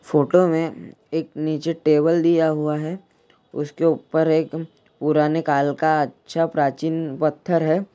Photo में एक नीचे टेबल दिया हुआ हैउसके ऊपर एक पुराने काल का अच्छा प्राचीन पत्थर है।